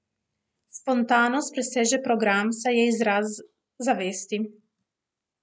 Spontanost preseže program, saj je izraz zavesti.